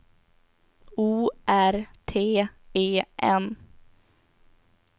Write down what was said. O R T E N